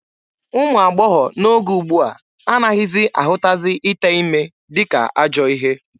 Ụmụ agbọghọ n'oge ugbua anaghị ahụtazi ite ime dịka ajọọ ihe.